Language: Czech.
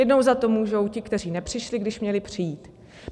Jednou za to můžou ti, kteří nepřišli, když měli přijít.